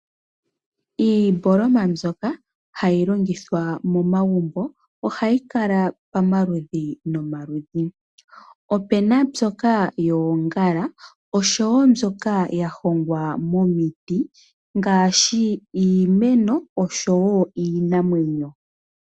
Iimboloma mbyoka hayi longithwa momagumbo oha yi kala pamaludhi nomaludhi opu na mbyoka yoongala oshowo mbyoka ya hongwa momiti ngaashi iimeno oshowo iinamwenyo.